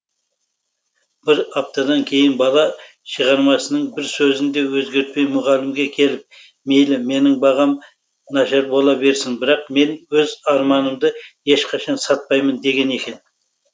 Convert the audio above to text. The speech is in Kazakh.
бір аптадан кейін бала шығармасының бір сөзін де өзгертпей мұғалімге келіп мейлі менің бағам нашар бола берсін бірақ мен өз арманымды ешқашан сатпаймын деген екен